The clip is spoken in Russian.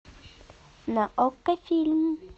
на окко фильм